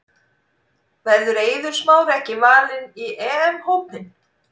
Verður Eiður Smári ekki valinn í EM hópinn?